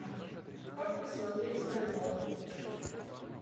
как посмотреть стажер